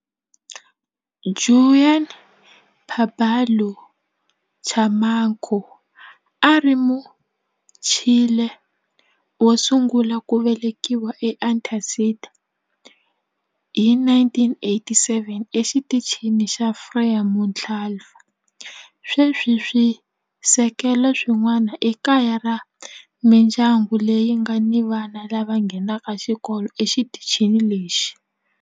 Juan Pablo Camacho a a ri Muchile wo sungula ku velekiwa eAntarctica hi 1984 eXitichini xa Frei Montalva. Sweswi swisekelo swin'wana i kaya ra mindyangu leyi nga ni vana lava nghenaka xikolo exitichini lexi.